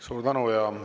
Suur tänu!